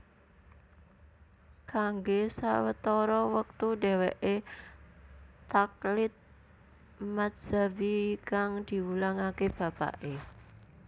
Kanggo sawetara wektu dheweke taqlid madzhabi kang diwulangake bapake